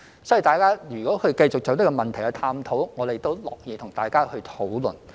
所以，如果大家繼續探討這個問題，我們都樂意與大家討論。